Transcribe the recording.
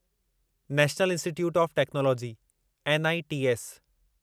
national Institute of Technology NITs